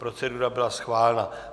Procedura byla schválena.